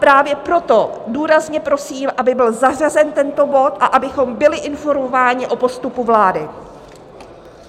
Právě proto důrazně prosím, aby byl zařazen tento bod a abychom byli informováni o postupu vlády.